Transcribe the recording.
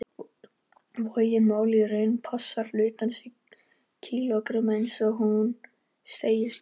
Vogin mælir því í rauninni massa hlutarins í kílógrömmum, eins og hún segist gera.